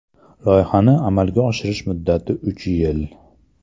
Loyihani amalga oshirish muddati uch yil.